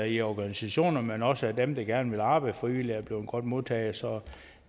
i organisationer men også af dem som gerne vil arbejde frivilligt er blevet godt modtaget så